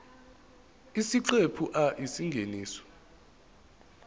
isiqephu a isingeniso